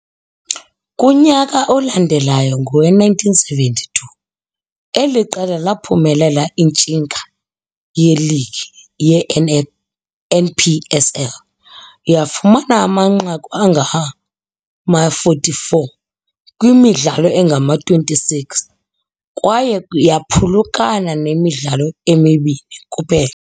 Kunyaka olandelayo ngowe-1972 eli qela laphumelela intshinga yeligi yeN.P.S.L yafumana amanqaku angama-44 kwimidlalo engama-26 kwaye yaphulukana nemidlalo emibini kuphela.